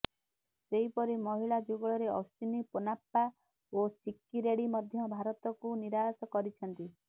ସେହିପରି ମହିଳା ଯୁଗଳରେ ଅଶ୍ୱିନୀ ପୋନାପ୍ପା ଓ ସିକ୍କି ରେଡୀ ମଧ୍ୟ ଭାରତକୁ ନିରାଶ କରିଛନ୍ତି